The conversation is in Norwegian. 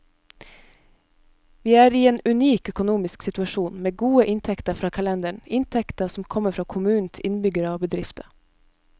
Vi er i en unik økonomisk situasjon, med gode inntekter fra kalenderen, inntekter som kommer fra kommunens innbyggere og bedrifter.